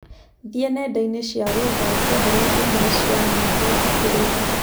thie nendaini cĩa gũetha unjethere ĩmwe cĩa nyĩmbo thikĩrirĩe